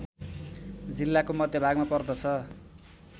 जिल्लाको मध्यभागमा पर्दछ